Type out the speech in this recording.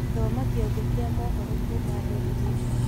Thoma kĩongo kĩa mohoro kuma daily nation